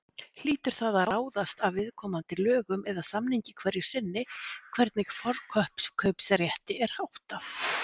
Hlýtur það að ráðast af viðkomandi lögum eða samningi hverju sinni hvernig forkaupsrétti er háttað.